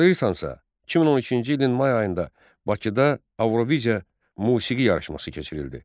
Xatırlayırsansa, 2012-ci ilin may ayında Bakıda Avroviziya musiqi yarışması keçirildi.